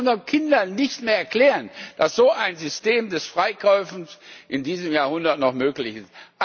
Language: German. Das können wir doch unseren Kindern nicht mehr erklären, dass so ein System des Freikaufens in diesem Jahrhundert noch möglich ist!